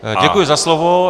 Děkuji za slovo.